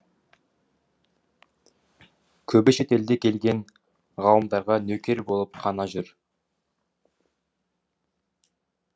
көбі шетелден келген ғалымдарға нөкер болып қана жүр